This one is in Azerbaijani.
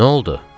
Nə oldu?